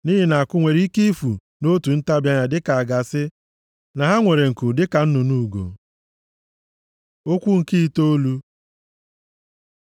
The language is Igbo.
Nʼihi na akụ nwere ike ifu nʼotu ntabi anya dịka a ga-asị na ha nwere nku dịka nnụnụ ugo. Okwu nke itoolu